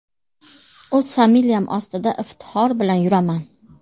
O‘z familiyam ostida iftixor bilan yuraman!!!